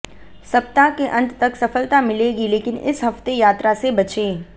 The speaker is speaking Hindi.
सप्ताह के अंत तक सफलता मिलेगी लेकिन इस हफ्ते यात्रा से बचें